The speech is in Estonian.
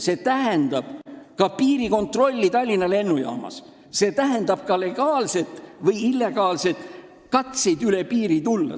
See tähendab ka piirikontrolli Tallinna lennujaamas, see tähendab ka legaalseid või illegaalseid katseid üle piiri tulla.